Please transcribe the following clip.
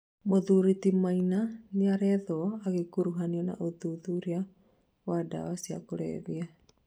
Mũthuri ti Maina nĩarethwo agĩkuruhanio na ũthuthuria wa ndawa cĩa kulevya